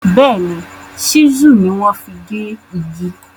Béèní, Ṣísù ni wọ́n fi gé igi.